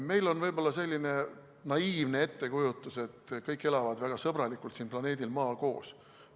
Meil on võib-olla selline naiivne ettekujutus, et kõik elavad väga sõbralikult siin planeedil Maa koos.